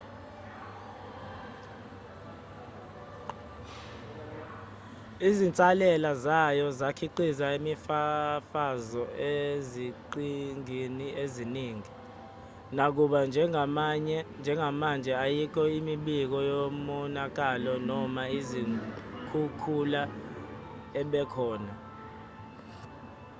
izinsalela zayo zakhiqiza imifafazo eziqhingini eziningi nakuba njengamanje ayikho imibiko yomonakalo noma izikhukhula ebekhona